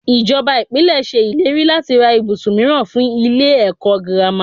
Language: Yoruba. Ìjọba Ìpínlẹ̀ ṣe ìlérí láti ra ibùsùn mìíràn fún ilé ẹ̀kọ́ girama.